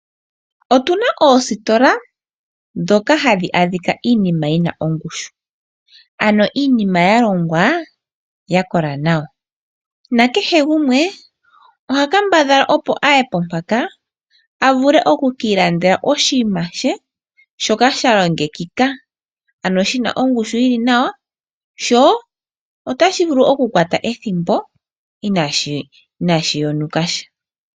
Otuna oositola ndhoka hadhi adhika iinima yi na ongushu, ano iinima yalongwa ya kola nawa nakehe gumwe oha kambadhala opo aye po mpaka a vule oku ki i landele oshinima she shoka sha longekika ano shi na ongushu yili nawa sho otashi vulu oku kwata ethimbo inaashi yonuka sha.